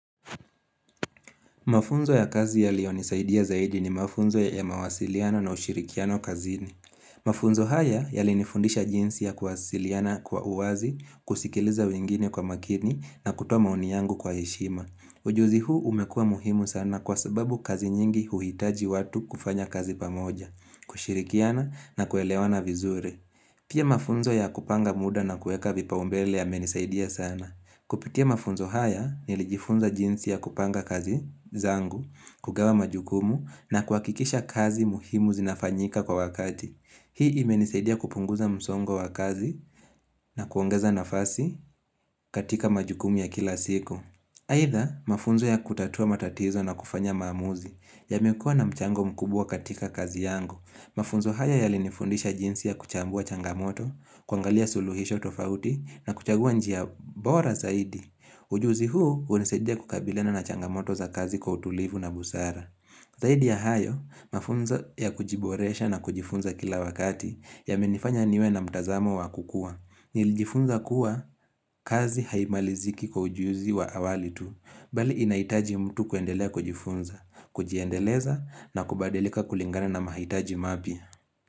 Mafunzo ya kazi yaliyonisaidia zaidi ni mafunzo ya ya mawasiliano na ushirikiano kazini. Mafunzo haya yalinifundisha jinsi ya kuwasiliana kwa uwazi, kusikiliza wengine kwa makini na kutoa maoni yangu kwa heshima. Ujuzi huu umekuwa muhimu sana kwa sababu kazi nyingi huhitaji watu kufanya kazi pamoja, kushirikiana na kuelewana vizuri. Pia mafunzo ya kupanga muda na kueka vipaumbele yamenisaidia sana. Kupitia mafunzo haya nilijifunza jinsi ya kupanga kazi zangu, kugawa majukumu na kuhakikisha kazi muhimu zinafanyika kwa wakati. Hii imenisaidia kupunguza msongo wa kazi na kuongeza nafasi katika majukumu ya kila siku. Haitha mafunzo ya kutatua matatizo na kufanya maamuzi yamekuwa na mchango mkubwa katika kazi yangu. Mafunzo haya yalinifundisha jinsi ya kuchambua changamoto, kuangalia suluhisho tofauti na kuchagua njia bora zaidi. Ujuzi huu unasaidia kukabiliana na changamoto za kazi kwa utulivu na busara. Zaidi ya hayo, mafunzo ya kujiboresha na kujifunza kila wakati yamenifanya niwe na mtazamo wa kukua. Nilijifunza kuwa kazi haimaliziki kwa ujuzi wa awali tu. Bali inahitaji mtu kuendelea kujifunza, kujiendeleza na kubadilika kulingana na mahitaji mapya.